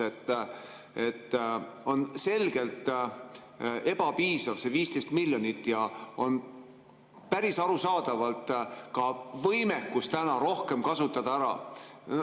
See 15 miljonit on selgelt ebapiisav ja on päris arusaadavalt ka võimekus rohkem ära kasutada.